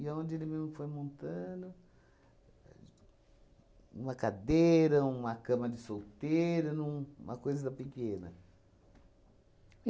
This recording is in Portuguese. aonde ele me foi montando uma cadeira, uma cama de solteira, num uma coisa pequena.